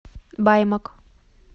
баймак